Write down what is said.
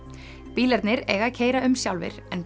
bílarnir eiga að keyra um sjálfir en